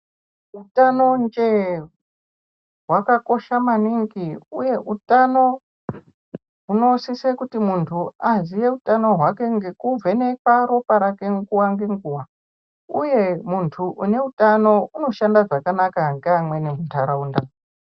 Utanonje wakakosha maningi uye utano hunosise kuti muntu aziye utano hwake ngekuvhenekwa ropa rake nguva ngenguva uyu muntu une utano unoshanda zvakanaka ngeamweni mundaraunda.